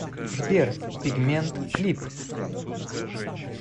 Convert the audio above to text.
сбер пигмент клип